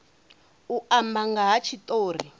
u amba nga ha tshitori